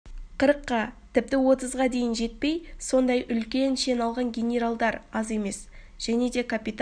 қырыққа тіпті отызға дейін жетпей сондай үлкен шен алған генералдар аз емес және де капитан